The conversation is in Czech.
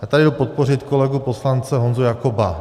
Já tady jdu podpořit kolegu poslance Honzu Jakoba.